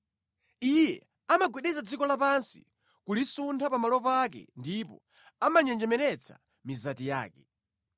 Iye amagwedeza dziko lapansi kulisuntha pamalo pake ndipo amanjenjemeretsa mizati yake.